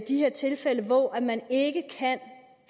de her tilfælde hvor man ikke kan